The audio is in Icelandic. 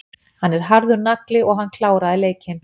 Hann er harður nagli og hann kláraði leikinn.